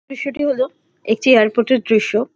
দৃশ্যটি হলো একটি এয়ারপোর্ট -এর দৃশ্য ।